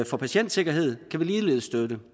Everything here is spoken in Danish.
for patientsikkerhed kan vi ligeledes støtte